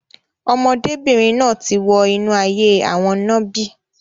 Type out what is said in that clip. Ọmọdébìnrin náà ti wọ inú ayé òwò nàbì.